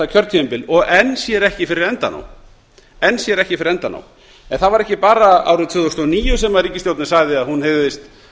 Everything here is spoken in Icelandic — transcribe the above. kjörtímabil og enn sér ekki fyrir endann á henni það var ekki bara árið tvö þúsund og níu sem ríkisstjórnin sagði að hún hygðist